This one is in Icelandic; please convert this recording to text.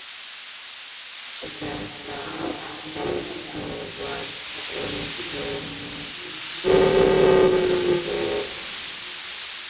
Gerðu þetta aftur, þú varst engu lík hikstaði hann.